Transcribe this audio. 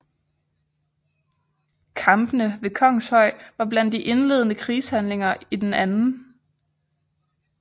Kampene ved Kongshøj var blandt de indledende krigshandlinger i den 2